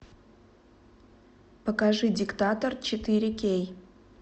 покажи диктатор четыре кей